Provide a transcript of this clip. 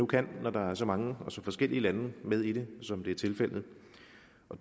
kan når der er så mange og så forskellige lande med i det som det er tilfældet